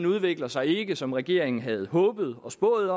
udvikler sig ikke som regeringen havde håbet og spået